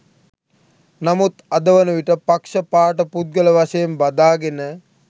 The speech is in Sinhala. නමුත් අද වන විට පක්‍ෂ පාට පුද්ගල වශයෙන් බදාගෙන